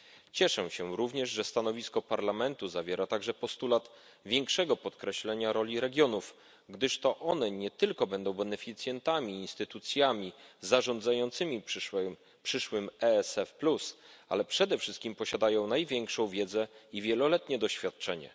Cieszę się również, że stanowisko Parlamentu zawiera także postulat większego podkreślenia roli regionów, gdyż to one nie tylko będą beneficjentami i instytucjami zarządzającymi przyszłym EFS Plus, ale przede wszystkim posiadają największą wiedzę i wieloletnie doświadczenie.